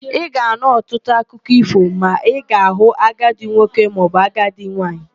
Ị ga-anụ ọtụtụ akụkọ ífò ma ị ga-hụ agadị nwoke maọbụ agadị nwaanyị.